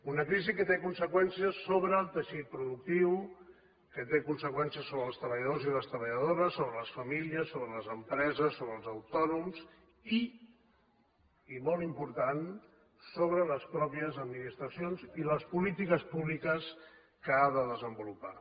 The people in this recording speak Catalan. una crisi que té conseqüències sobre el teixit productiu que té conseqüències sobre els treballadors i les treballadores sobre les famílies sobre les empreses sobre els autònoms i i molt important sobre les mateixes administracions i les polítiques públiques que han de desenvolupar